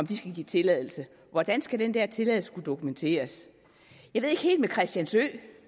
skal give tilladelse hvordan skal den der tilladelse kunne dokumenteres jeg ved ikke helt med christiansø